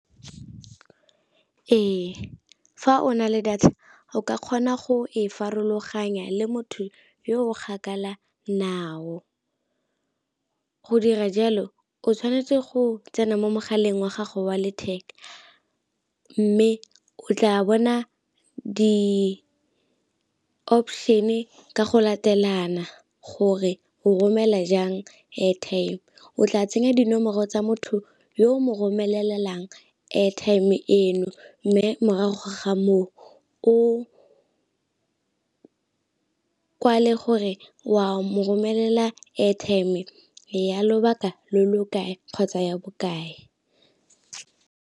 Ee, fa o na le data o ka kgona go e farologanya le motho yo o gakala nao, go dira jalo o tshwanetse go tsena mo mogaleng wa gago wa letheka mme o tla bona di-option-e ka go latelana gore o romela jang airtime. O tla tsenya dinomoro tsa motho yo mo romelelang airtime eno mme morago ga moo o kwale gore wa mo romelela airtime ya lobaka lo lo kae kgotsa ya bokae.